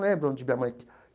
Não lembro onde minha mãe.